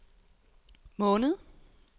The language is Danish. måned